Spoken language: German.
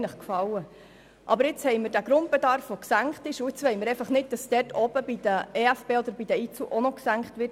Da wir nun aber diesen gesenkten Grundbedarf haben, wollen wir jetzt nicht, dass oben bei den EFB oder bei den IZU auch noch gesenkt wird.